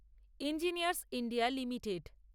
engineers India limited